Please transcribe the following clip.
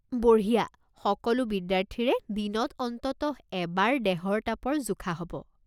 বঢ়িয়া, সকলো বিদ্যাৰ্থীৰে দিনত অন্ততঃ এবাৰ দেহৰ তাপৰ জোখা হ'ব।